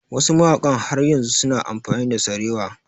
Wasu mawaƙan har yanzu su na amfani da sarewa